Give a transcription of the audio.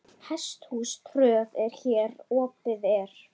Hesthús tröð hér opið er.